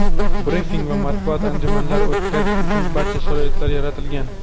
brifing va matbuot anjumanlari o‘tkazish uchun barcha sharoitlar yaratilgan.